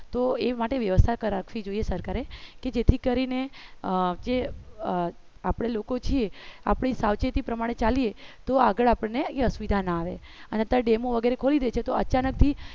તો એ માટે વ્યવસ્થા રાખવી જોઈએ સરકારે કે જેથી કરીને આપણે લોકો છીએ આપણી સાવચેતી પ્રમાણે ચાલીએ તો આગળ આપણને એ અસુવિધા ના આવે અને ડેમો વગેરે ખોલી દે તો અચાનક થી